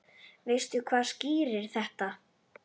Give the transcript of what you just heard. Veistu hvað skýrir þetta?